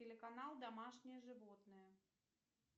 телеканал домашние животные